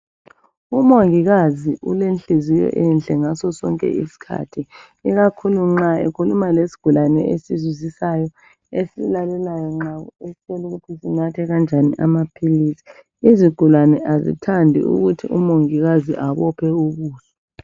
Umongikazi ulenhliziyo enhle ngaso sonke isikhathi ikakhulu nxa ekhuluma lesigulane esizwisisayo esilalelayo nxa usitshela ukuthi sinathe kanjani amaphilisi izigulane azithandi ukuthi umongikazi abophe ubuso.